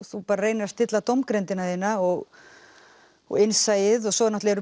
þú reynir að stilla dómgreindina þína og og innsæið og svo náttúrulega